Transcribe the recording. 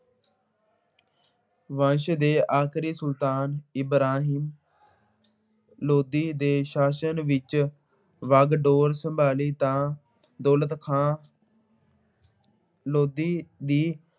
ਵੰਸ਼ ਦੇ ਆਖਰੀ ਸੁਲਤਾਨ ਇਬਰਾਹਿਮ ਨੇ ਸ਼ਾਸਨ ਵਿੱਚ ਵਾਗਡੋਰ ਸੰਭਾਲੀ ਤਾਂ ਦੌਲਤ ਖਾਂ ਲੋਧੀ ਦੀ